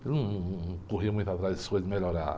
Ele num, num, não corria muito atrás dessas coisas de melhorar.